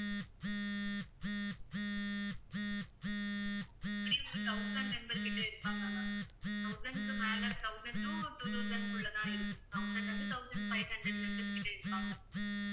எப்படியும் வந்து thousand member கிட்ட இருபாங்க ma'am thousand க்கு மேல thousand to two thousand குள்ள தான் இருக்கும் thousand ல இருந்து thousand five hundred members கிட்ட இருபாங்க